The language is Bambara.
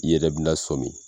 I yɛrɛ bi na sɔmin